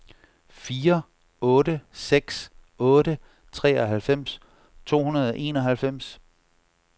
fire otte seks otte treoghalvfems to hundrede og enoghalvfems